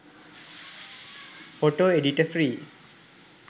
photo editor free